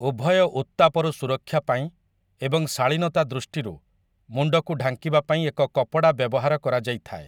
ଉଭୟ ଉତ୍ତାପରୁ ସୁରକ୍ଷା ପାଇଁ ଏବଂ ଶାଳୀନତା ଦୃଷ୍ଟିରୁ, ମୁଣ୍ଡକୁ ଢାଙ୍କିବାପାଇଁ ଏକ କପଡ଼ା ବ୍ୟବହାର କରାଯାଇଥାଏ ।